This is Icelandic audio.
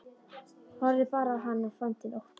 Horfði bara á hann og fann til ótta.